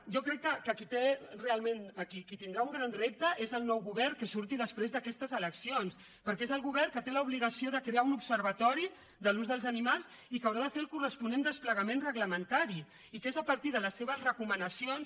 jo crec que qui tindrà un gran repte és el nou govern que surti després d’aquestes eleccions perquè és el govern el que té l’obligació de crear un observatori de l’ús dels animals i que haurà de fer el corresponent desplegament reglamentari i que és a partir de les seves recomanacions